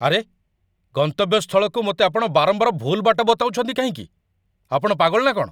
ଆରେ! ଗନ୍ତବ୍ୟସ୍ଥଳକୁ ମୋତେ ଆପଣ ବାରମ୍ବାର ଭୁଲ୍ ବାଟ ବତାଉଛନ୍ତି କାହିଁକି? ଆପଣ ପାଗଳ ନା କ'ଣ?